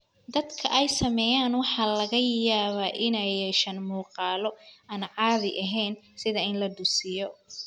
Dadka ay saamaysay waxa laga yaabaa inay yeeshaan muuqaalo aan caadi ahayn, sida in la dusiyo.